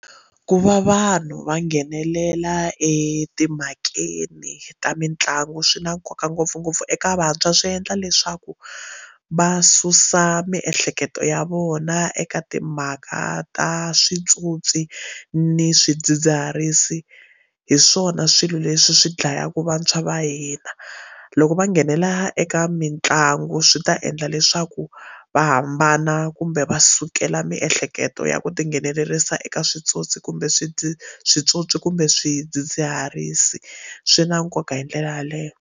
Ku va vanhu va nghenelela etimhakeni ta mitlangu swi na nkoka ngopfungopfu eka vantshwa swi endla leswaku va susa miehleketo ya vona eka timhaka a ta switsotsi ni swidzidziharisi hi swona swilo leswi swi dlayaka vantshwa va hina loko va nghenelela eka mitlangu swi ta endla leswi swa ku va hambana kumbe va sukela miehleketo ya ku tinghenelerisa eka switsotsi kumbe switsotsi kumbe swidzidziharisi swi na nkoka hi ndlela yaleyo.